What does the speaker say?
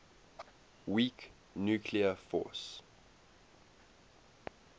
weak nuclear force